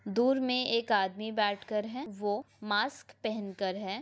दूर मे एक आदमी बैठ कर है वो मास्क पहनकर है।